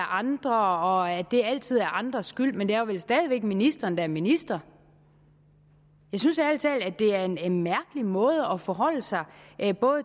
andre og at det altid er andres skyld men det er vel stadig væk ministeren der er minister jeg synes ærlig talt at det er en mærkelig måde ikke alene at forholde sig